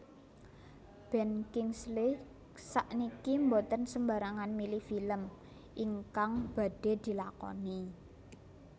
Ben Kingsley sakniki mboten sembarangan milih film ingkang badhe dilakoni